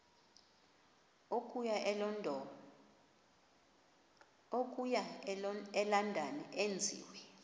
okuya elondon enziwe